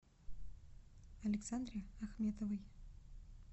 александре ахметовой